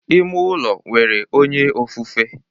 Ime ụlọ nwere onye ofufe